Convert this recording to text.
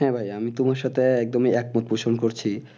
হ্যাঁ ভাই আমি তোমার সাথে একদম ই একমত প্রশ্ণ করছি